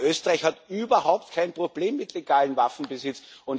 Gerade Österreich hat überhaupt kein Problem mit legalem Waffenbesitz.